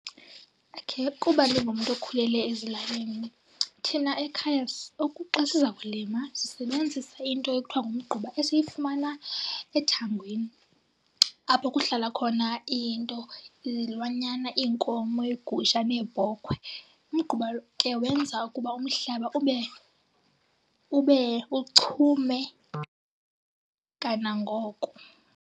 Okay. Kuba ndingumntu okhulele ezilalini thina ekhaya xa siza kulima sisebenzisa into ekuthiwa ngumgquba esiyifumana ethangweni, apho kuhlala khona into, izilwanyana, iinkomo, iigusha neebhokhwe. Umgquba ke wenza ukuba umhlaba ube uchume kanangoko.